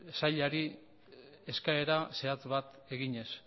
sailari eskaera zehatz bat eginez